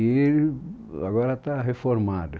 E agora está reformado.